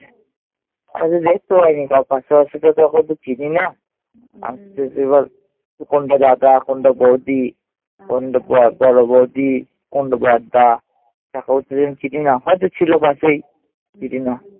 আমি তো দেখতে পাইনি। তখন তো চিনি না। এবার কোনটা দাদা, কোনটা বউদি, কোনটা বড় বউদি, কোনটা বড়দা। তাকেও তো চিনি না। হয়ত ছিল পাশেই দিদিমা।